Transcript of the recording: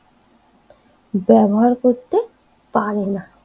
ব্যবহার করতে পারে না